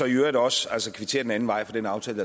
i øvrigt også kvittere den anden vej for den aftale